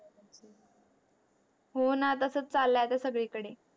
हो णा तसच चालय आता सगळी कडे